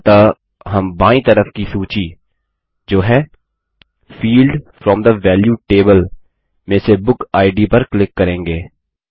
अतः हम बायीं तरफ की सूची जो है field from the value table में से बुक इद पर क्लिक करेंगे